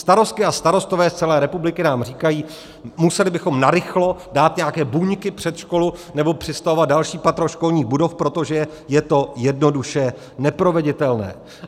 Starostky a starostové z celé republiky nám říkají: museli bychom narychlo dát nějaké buňky před školu nebo přistavovat další patro školních budov, protože je to jednoduše neproveditelné.